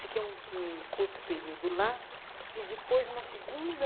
Fiquei um um curto período lá e depois uma segunda...